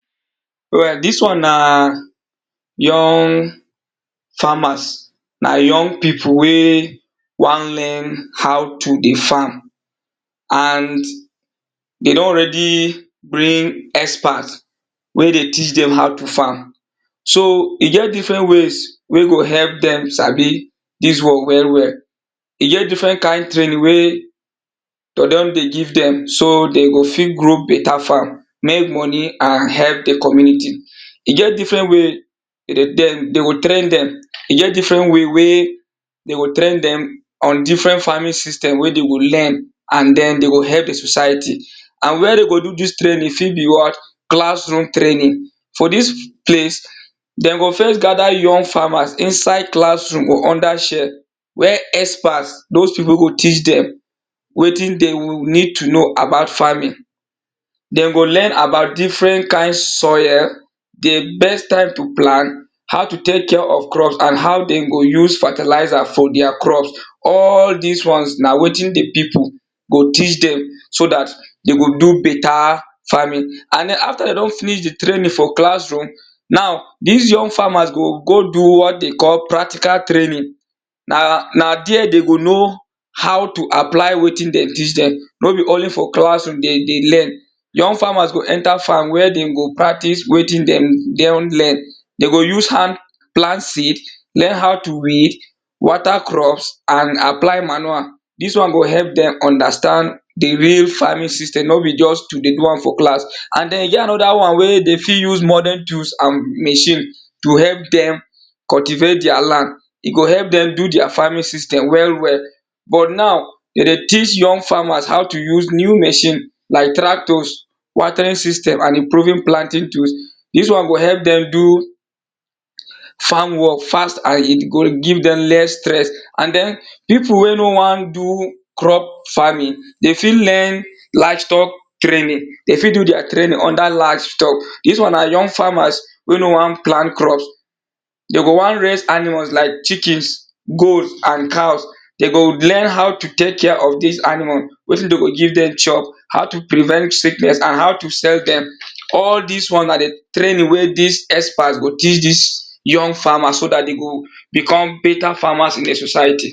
Alright dis one na young farmers na young people wey won learn how to dey farm and dey don already bring experts wey dey teach dem how to farm so e get different ways wey go help dem sabi dis work well well e get different kind training wey dey don dey give dem so dey go fit grow better farm, make money and help di community e get different way dey go train dem e get different way dey go train dem on different farming system wey dey go learn and den dey go help di society and where dey go do dis training e fit be what class room training for dis place dey go first gather young farmers inside classroom or under shell where experts dos people wey go teach dem wetin dey go need to know about farming dey go learn about different kind soil, di best time to plant, how to take care of crop and how dey go use fertilizer for their crops all dis ones na wetin di people go teach dem so dat dey go do better farming and den after dey don finish di training for classroom now dis young farmers go go do what they call practical training na na there dey go know how to apply wetin dem teach dem no be only for classroom dem dey learn young farmers go enter farm where dem go practice wetin dem don learn dey go use hand plant seed, learn how to weed, water crops and apply manual dis one go help dem understand di really farming system no be just to dey do am for class and den e get another one wey dey fit use modern tools and machine to help dem cultivate their land e go help dem do their farming system well well but now dem dey teach young farmers how use new machine like traitors, watering system and improving planting tools dis one go help dem do farm work fast and e go give dem less stress and den people wey no won do crop farming dey fit learn livestock training, dem fit do their training under livestock dis one na young farmers wey no won plant crops dey go won raise animals like chickens, goat and cows dey go learn how to take care of dis animals wetin dey go give dem chop, how to prevent sickness and how to sell dem all dis ones na di training wey dis experts go teach dis young farmers so dat dey go become better farmers in di society.